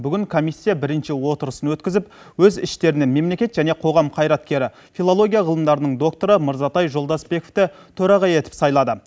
бүгін комиссия бірінші отырысын өткізіп өз іштерінен мемлекет және қоғам қайраткері филология ғылымдарының докторы мырзатай жолдасбековті төраға етіп сайлады